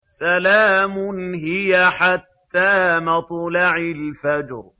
سَلَامٌ هِيَ حَتَّىٰ مَطْلَعِ الْفَجْرِ